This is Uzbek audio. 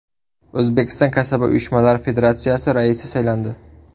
O‘zbekiston Kasaba uyushmalari federatsiyasi raisi saylandi.